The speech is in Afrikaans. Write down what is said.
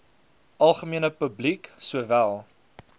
algemene publiek sowel